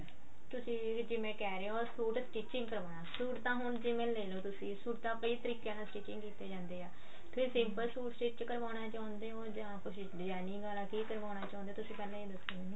ਤੁਸੀਂ ਦੀਦੀ ਜਿਵੇਂ ਕਿਹ ਰਹੇ ਓ ਸੂਟ stitching ਕਰਵਾਨਾ ਸੂਟ ਤਾਂ ਹੁਣ ਇਹ ਤਰੀਕੇ ਨਾਲ stitching ਕੀਤੇ ਜਾਂਦੇ ਆ ਤੁਸੀਂ simple ਸੂਟ stich ਕਰਵਾਨਾ ਚਾਹੁੰਦੇ ਓ ਜਾਂ designing ਆਲਾ ਕੀ ਕਰਵਾਨਾ ਚਾਹੁੰਦੇ ਹੋ ਤੁਸੀਂ ਇਹ ਦੱਸੋ ਪਹਿਲਾਂ ਮੈਨੂੰ